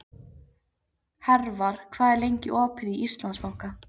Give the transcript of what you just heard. Hervar, hvað er lengi opið í Íslandsbanka?